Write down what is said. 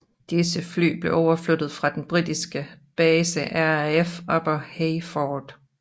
Disse fly blev overflyttet fra den britiske base RAF Upper Heyford